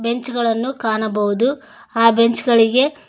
bench ಗಳನ್ನು ಕಾಣಬಹುದು ಆ ಬೆಂಚ್ ಗಳಿಗೆ--